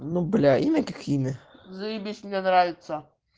ну блять имя как имя заебись мне нравится